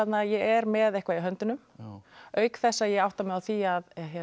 að ég er með eitthvað í höndunum auk þess að ég átta mig á því að